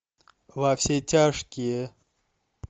во все тяжкие